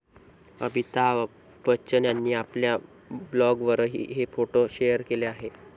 अमिताभ बच्चन यांनी आपल्या ब्लॉगवरही हे फोटो शेअर केले आहेत.